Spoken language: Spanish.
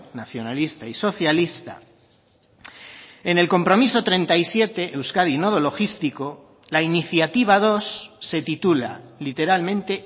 nacionalista y socialista en el compromiso treinta y siete euskadi nodo logístico la iniciativa dos se titula literalmente